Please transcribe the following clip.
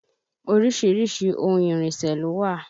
Orísìírísìí ohun ìrìnsẹ̀ ló wà